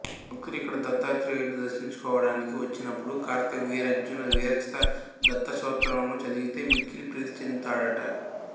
భక్తులు ఇక్కడి దత్తాత్రేయుడుని దర్శించుకోవడానికి వచ్చినప్పుడు కార్త్యవీర్యార్జున విరచిత దత్తస్తోత్రాలను చదివితే మిక్కిలి ప్రీతి చెందుతాడట